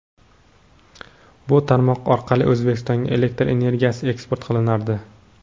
Bu tarmoq orqali O‘zbekistonga elektr energiyasi eksport qilinardi.